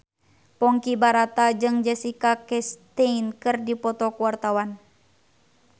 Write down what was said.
Ponky Brata jeung Jessica Chastain keur dipoto ku wartawan